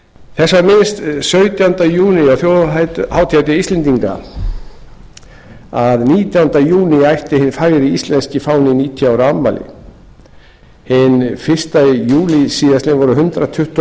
þess var minnst sautjánda júní á þjóðhátíðardegi íslendinga að nítjánda júní ætti hinn fagri íslenski fáni níutíu ára afmæli hinn fyrsta júlí síðastliðinn voru hundrað tuttugu og